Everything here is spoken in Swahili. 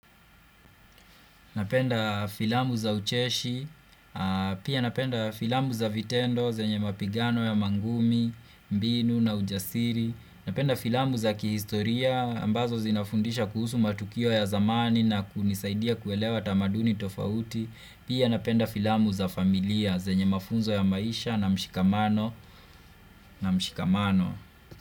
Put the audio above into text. Napenda filamu za ucheshi, pia napenda filamu za vitendo, zenye mapigano ya mangumi, mbinu na ujasiri, napenda filamu za kihistoria, ambazo zinafundisha kuhusu matukio ya zamani na kunisaidia kuelewa tamaduni tofauti, pia napenda filamu za familia, zenye mafunzo ya maisha na mshikamano.